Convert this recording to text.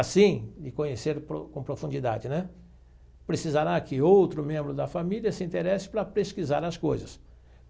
Assim, de conhecer com profundidade né, precisará que outro membro da família se interesse para pesquisar as coisas.